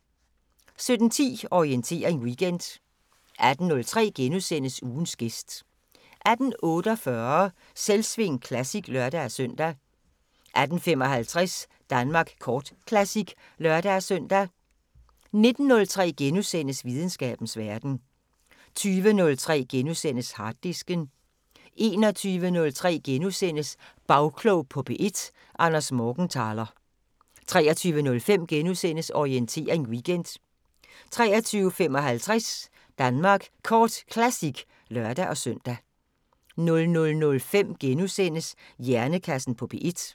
17:10: Orientering Weekend 18:03: Ugens gæst * 18:48: Selvsving Classic (lør-søn) 18:55: Danmark Kort Classic (lør-søn) 19:03: Videnskabens Verden * 20:03: Harddisken * 21:03: Bagklog på P1: Anders Morgenthaler * 23:05: Orientering Weekend * 23:55: Danmark Kort Classic (lør-søn) 00:05: Hjernekassen på P1 *